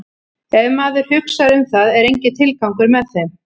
Ef maður hugsar um það er enginn tilgangur með þeim.